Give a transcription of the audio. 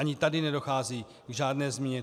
Ani tady nedochází k žádné změně.